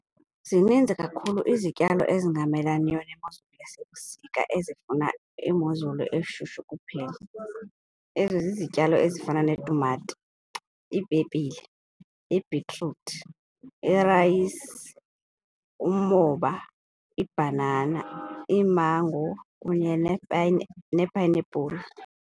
Zininzi kakhulu izityalo ezingamelaniyo nemozulu yasebusika ezifuna imozulu eshushu kuphela. Ezo zizityalo ezifana netumato iipepile, ibhitruthi, irayisi, umoba, ibhanana, iimango kunye nee-pineapple.